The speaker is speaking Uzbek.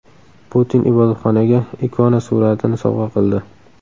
Putin ibodatxonaga ikona suratini sovg‘a qildi.